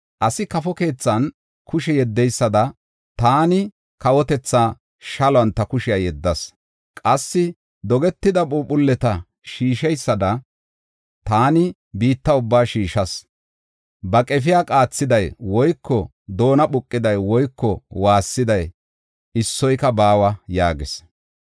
Asi kafo keethan kushe yeddeysada taani kawotethaa shaluwan ta kushiya yeddas. Qassi dogetida phuuphuleta shiisheysada taani biitta ubbaa shiishas. Ba qefiya qaathiday woyko doona phuqiday woyko waassiday issoyka baawa” yaagis.